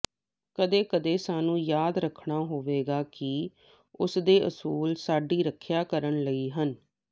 ਕਦੇ ਕਦੇ ਸਾਨੂੰ ਯਾਦ ਰੱਖਣਾ ਹੋਵੇਗਾ ਕਿ ਉਸਦੇ ਅਸੂਲ ਸਾਡੀ ਰੱਖਿਆ ਕਰਨ ਲਈ ਹਨ